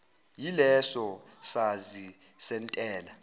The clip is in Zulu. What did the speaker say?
yileso sazi sentela